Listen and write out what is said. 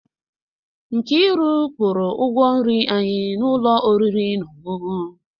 Nkiru kwụrụ ụgwọ nri anyị n'ụlọ oriri na ọṅụṅụ.